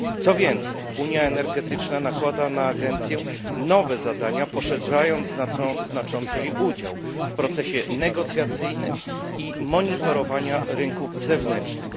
Co więcej, unia energetyczna nakłada na agencję nowe zadania, poszerzając znacząco jej udział w procesie negocjacyjnym i monitorowania rynków zewnętrznych.